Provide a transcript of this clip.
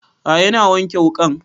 A'a ina wanke wuƙan